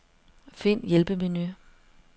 Find hjælpemenu.